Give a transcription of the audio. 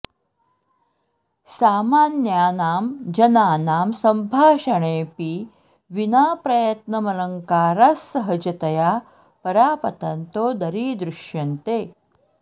सामान्यानां जनानां सम्भाषणेऽपि विना प्रयत्न मलङ्कारा स्सहजतया परापतन्तो दरीदृश्यन्ते